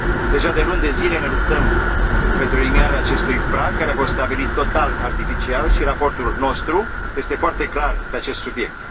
Deja de luni de zile ne luptăm pentru eliminarea acestui prag, care a fost stabilit total artificial, iar raportul nostru este foarte clar pe acest subiect.